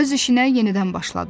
Öz işinə yenidən başladı.